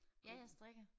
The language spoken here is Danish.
Ja jeg strikker